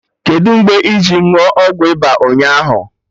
Kedụ mgbe iji ṅụọ ọgwụ ịba ụnyaahụ